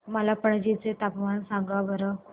मला पणजी चे तापमान सांगा बरं